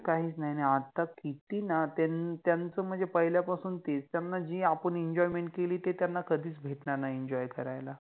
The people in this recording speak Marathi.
काहिच नहि, आणि आता किति नात्यान त्यांच मनजे पहिल्यापासुन तेच, त्याना आपन जे काहि एं Enjoyment केलि ते त्याना कधिच भेटनार नहि Enjoy करायला